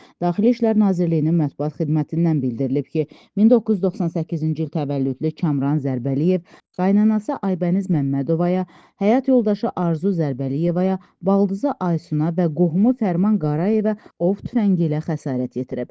Daxili İşlər Nazirliyinin mətbuat xidmətindən bildirilib ki, 1998-ci il təvəllüdlü Kamran Zərbəliyev qaynanası Aybəniz Məmmədovaya, həyat yoldaşı Arzu Zərbəliyevaya, baldızı Aysuna və qohumu Fərman Qarayevə ov tüfəngi ilə xəsarət yetirib.